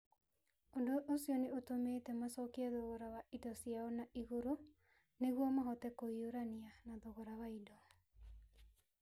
Ũndũ ũcio nĩ ũtũmĩte macokie thogora wa indo ciao na igũrũ nĩguo mahote kũhiũrania na thogora wa indo.